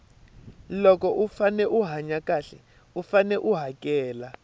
loko u fane u hanya xahle u fane u hakela